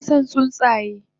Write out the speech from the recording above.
Yinason tsuntsaye